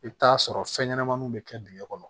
I bɛ t'a sɔrɔ fɛn ɲɛnamaninw bɛ kɛ dingɛ kɔnɔ